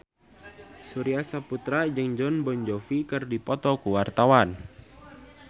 Surya Saputra jeung Jon Bon Jovi keur dipoto ku wartawan